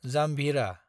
जाम्भिरा